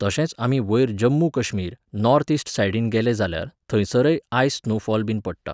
तशेंच आमी वयर जम्मू कश्मीर, नॉर्थ इस्ट सायडीन गेले जाल्यार थंयसरय आयस स्नो फॉल बीन पडटा.